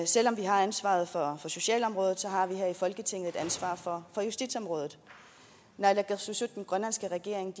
selv om vi har ansvaret for socialområdet har vi her i folketinget et ansvar for justitsområdet naalakkersuisut den grønlandske regering